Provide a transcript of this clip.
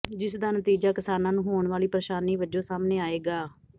ਜਿਸਦਾ ਨਤੀਜ਼ਾ ਕਿਸਾਨਾਂ ਨੂੰ ਹੋਣ ਵਾਲੀ ਪ੍ਰੇਸ਼ਾਨੀ ਵਜੋਂ ਸਾਹਮਣੇ ਆਏਗਾ